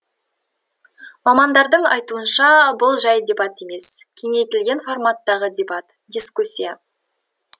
мамандардың айтуынша бұл жай дебат емес кеңейтілген форматтағы дебат дискуссия